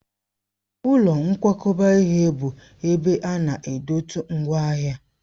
Ụlọ nkwakọba ihe bụ ebe ana edote ngwaahịa.